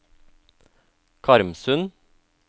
Karmsund